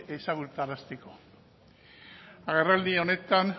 ezagutarazteko agerraldi